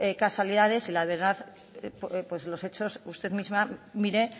casualidad la verdad por los hechos usted misma mire